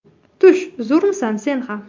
Tush, zo‘rmisan sen ham?